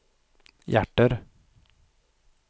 hjärter